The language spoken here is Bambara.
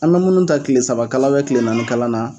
An be munnu ta kile saba kalan kile naani kalan na.